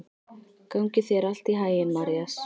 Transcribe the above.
Gangi þér allt í haginn, Marías.